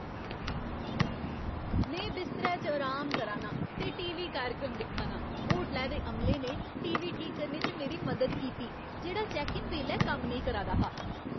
में बिस्तरै च अराम करा नां ते टी. वी. कार्यक्रम दिक्खा नां। होटलै दे अमले ने टी. वी. ठीक करने च मेरी मदद कीती जेह्ड़ा चैक्क इन बेल्लै कम्म नेईं करा दा हा।